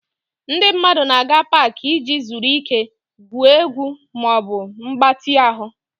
Ndị mmadụ na-aga Pááki iji zuru ike, gwuo egwu ma ọ bụ mgbatị ahụ